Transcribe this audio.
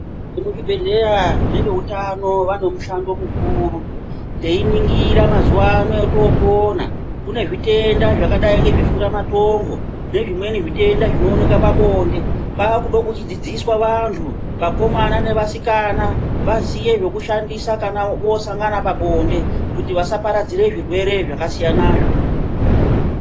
Muzvibhedhleya neveutano vane mushando mukuru teiningira mazuwa ano etoopona kune zvirwere zvimweni zvakadai ngeshuramatongo nezvimweni zvitenda zvinooneke pabonde kunode kudzidziswa vanthu vakomana nevasikana vaziye zvekushandisa kana voosangana pabonde kuti vasaparadzire zvirwere zvakasiyanazvo.